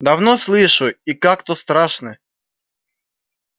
давно слышу и как-то страшно